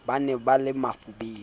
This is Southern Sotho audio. ba ne ba le bafubedi